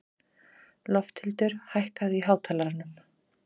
Lofthildur, hækkaðu í hátalaranum.